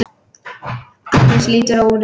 Agnes lítur á úrið.